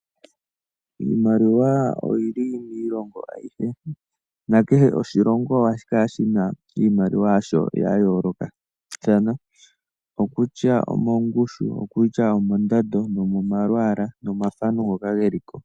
Iimaliwa oyili miilongo ayihe. Nakehe oshilongo ohashi kala shina iimaliwa yasho yayoolokathana, okutya omongushu, okutya omondando nomomalwaala nomomathano ngoka geli ko.